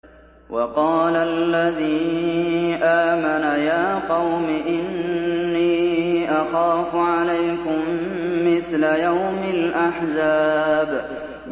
وَقَالَ الَّذِي آمَنَ يَا قَوْمِ إِنِّي أَخَافُ عَلَيْكُم مِّثْلَ يَوْمِ الْأَحْزَابِ